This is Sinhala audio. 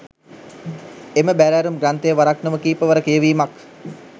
එම බැරෑරුම් ග්‍රන්ථය වරක් නොව කීපවර කියවීමක්